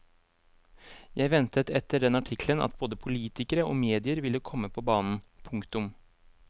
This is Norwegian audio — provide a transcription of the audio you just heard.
Jeg ventet etter den artikkelen at både politikere og medier ville komme på banen. punktum